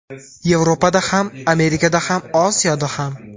Yevropada ham, Amerikada ham, Osiyoda ham.